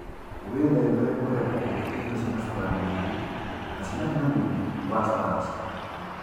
Wĩtheme kũhe mbũkũ irio ciĩna cukari mũingĩ na ciĩna hinya mũingĩ wa starchi